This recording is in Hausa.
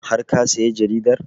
Har ka saya jaridar?